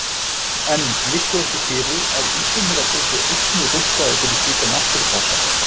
En liggur ekki fyrir að Íslendingar yrðu einnig rukkaðir fyrir slíka náttúrupassa?